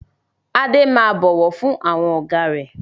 Adé máa bọ̀wọ̀ fún àwọn Ọ̀gá rẹ